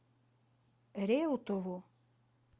реутову